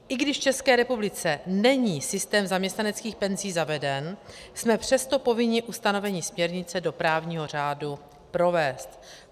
I když v České republice není systém zaměstnaneckých penzí zaveden, jsme přesto povinni ustanovení směrnice do právního řádu provést.